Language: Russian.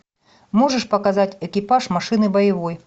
можешь показать экипаж машины боевой